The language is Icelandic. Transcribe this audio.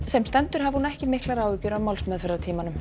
sem stendur hafi hún ekki miklar áhyggjur af